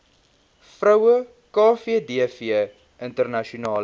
vroue kvdv internasionale